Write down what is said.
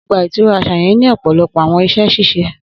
Ogba itura aṣa yẹn ni ọpọlọpọ awọn iṣẹ ṣiṣe.